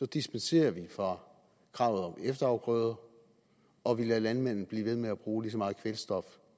dispenserer vi fra kravet om efterafgrøder og vi lader landmændene blive ved med at bruge lige så meget kvælstof